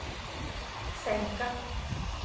sänka